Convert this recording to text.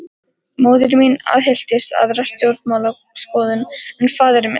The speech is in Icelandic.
Móðir mín aðhylltist aðra stjórnmálaskoðun en faðir minn.